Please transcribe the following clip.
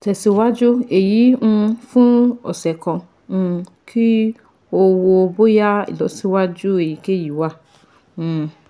Tẹsiwaju eyi um fun ọsẹ kan um ki o wo boya ilọsiwaju eyikeyi wa um